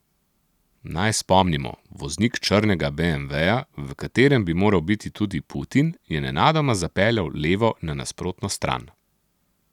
Naj spomnimo, voznik črnega beemveja, v katerem bi moral biti tudi Putin, je nenadoma zapeljal levo na nasprotno stran.